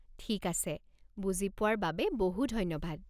ঠিক আছে, বুজি পোৱাৰ বাবে বহু ধন্যবাদ।